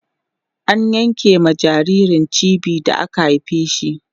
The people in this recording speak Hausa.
an yanke ma jinjiri cibi da aka haife shi